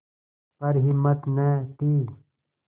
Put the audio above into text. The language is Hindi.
पर हिम्मत न थी